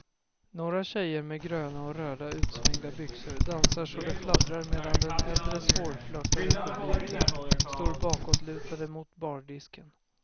Några tjejer med gröna och röda utsvängda byxor dansar så det fladdrar medan den äldre svårflörtade publiken står bakåtlutade mot bardisken.